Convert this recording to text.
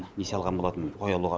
несие алған болатынмын қой алуға